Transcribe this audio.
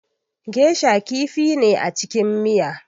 Geisha kifi ne a cikin miya